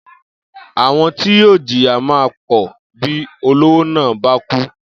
Àwo̩n ti yóò jìyà máa pò̩ bí olówó náà bá kú